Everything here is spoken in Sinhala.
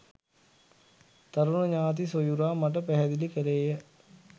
තරුණ ඥාති සොයුරා මට පැහැදිලි කළේය